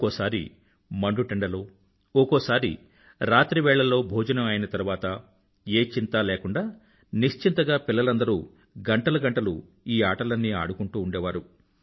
ఒకోసారి మండుటెండలో ఒకోసారి రాత్రి వేళల్లో భోజనం అయిన తరువాత ఏ చింతా లేకుండా నిశ్చింతగా పిల్లలందరూ గంటలు గంటలు ఈ ఆటలన్నీ అడుకుంటూ ఉండేవారు